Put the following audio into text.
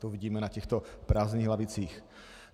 To vidíme na těchto prázdných lavicích.